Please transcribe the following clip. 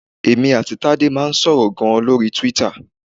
Èmi àti Tádé máa ń sọ̀rọ̀ gan-an lórí Twitter.